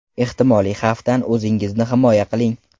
Ehtimoliy xavfdan o‘zingizni himoya qiling.